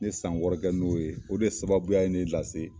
N ye san wɔɔrɔ kɛ n'o ye o de sababuya ye ne lase